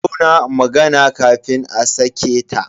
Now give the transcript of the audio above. A tauna magana kafin a sake ta.